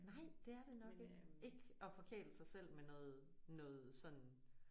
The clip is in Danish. Nej det er det nok ikke. Ikke at forkæle sig selv med noget noget sådan